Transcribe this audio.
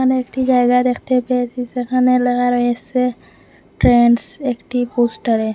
আমি একটি জায়গা দেখতে পেয়েছি যেখানে ল্যাখা রয়েসে ট্রেন্ডস একটি পোস্টারে।